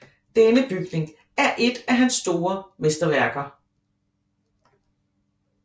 Denne bygning er et af hans mesterværker